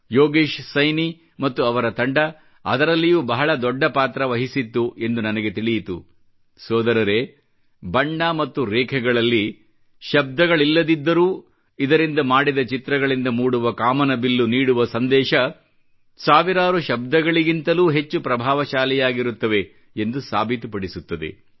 ಯೋಗೇಶ್ ಸೈನಿ ಮತ್ತು ಅವರ ತಂಡವು ಅದರಲ್ಲಿಯೂ ಬಹಳ ದೊಡ್ಡ ಪಾತ್ರ ವಹಿಸಿದ್ದರು ಎಂದು ನಂಗೆ ತಿಳಿಯಿತು ಸೋದರರೇ ಬಣ್ಣ ಮತ್ತು ರೇಖೆಗಳಲ್ಲಿ ಶಬ್ದಗಳಿಲ್ಲದಿದ್ದರೂ ಇದರಿಂದ ಮಾಡಿದ ಚಿತ್ರಗಳಿಂದ ಮೂಡುವ ಕಾಮನಬಿಲ್ಲು ನೀಡುವ ಸಂದೇಶ ಸಾವಿರಾರು ಶಬ್ದಗಳಿಗಿಂತಲೂ ಹೆಚ್ಚು ಪ್ರಭಾವಶಾಲಿಯಾಗಿರುತ್ತವೆ ಎಂದು ಸಾಬೀತು ಪಡಿಸುತ್ತದೆ